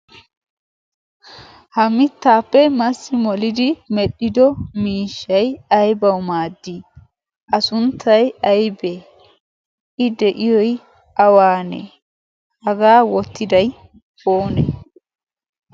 ha mittaappe massi molidi medhdhido miishshai aibawu maaddii? a sunttai aibee? i de7iyoi awaanee ? hagaa wottidai oonee?